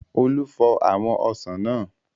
Olú fọ àwọn ọsàn náà.